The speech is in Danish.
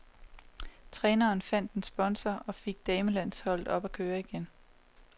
Træneren fandt en sponsor og fik damelandsholdet op at køre igen.